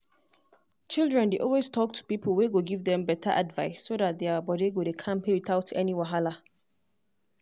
children dey always talk to people wey go give them better advice so that their body go dey kampe without any wahala.